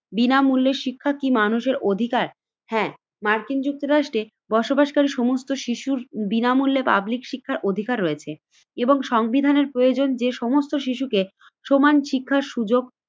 বিনামূল্যে শিক্ষা কি মানুষের অধিকার? হ্যাঁ, মার্কিন যুক্তরাষ্ট্রের বসবাসকারী সমস্ত শিশুর বিনামূল্যে পাবলিক শিক্ষার অধিকার রয়েছে এবং সংবিধানের প্রয়োজন যে সমস্ত শিশুকে সমান শিক্ষার সুযোগ